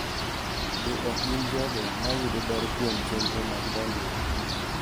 Be ok gin jogo ma yudo ber kuom chenro mag dongruok.